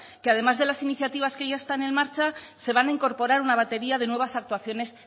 que además de las iniciativas que ya están en marcha se van a incorporar una batería de nuevas actuaciones